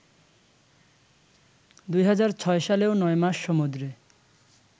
২০০৬ সালেও নয়মাস সমুদ্রে